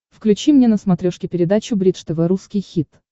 включи мне на смотрешке передачу бридж тв русский хит